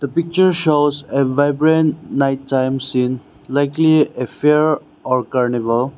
The picture shows a vibrant night time scene likely a fair or carnival.